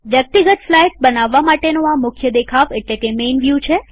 વ્યક્તિગત સ્લાઈડ્સ બનાવવા માટેનો આ મુખ્ય દેખાવ એટલેકે મેઈન વ્યુ છે